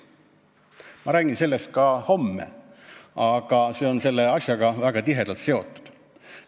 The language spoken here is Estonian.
Ma räägin sellest ka homme, see on selle asjaga väga tihedalt seotud.